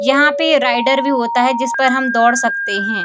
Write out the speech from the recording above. यहाँ पे राइडर भी होता है जिसपर हम दौड़ सकते हैं।